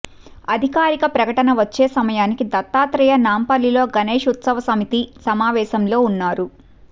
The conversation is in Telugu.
అధికారిక ప్రకటన వచ్చే సమయానికి దత్తాత్రేయ నాంపల్లిలో గణేష్ ఉత్సవ సమితి సమావేశంలో ఉన్నారు